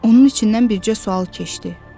Onun içindən bircə sual keçdi: